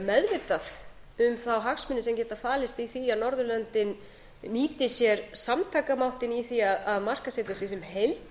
meðvitað um þá hagsmuni sem geta falist í því að norðurlöndin nýti sér samtakamáttinn í því að markaðssetja sig sem heild